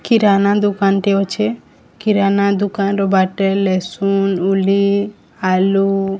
କିରାନା ଦୋକାନଟେ ଅଛେ କିରାନା ଦୋକାନ ର ବାଟେ ଲେଶୁନ ଉଲି ଆଲୁ --